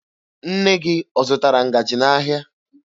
Nne gị ọ zụtara ngaji n'ahịa?